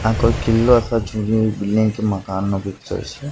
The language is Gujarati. આ કોઈ કિલ્લો કે જૂનું બિલ્ડીંગ કે મકાન નુ પિક્ચર છે.